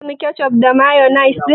Kin samu kecof da mayonis ɗin?